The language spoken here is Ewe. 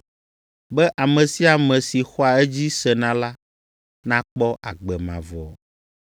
be ame sia ame si xɔa edzi sena la nakpɔ agbe mavɔ.”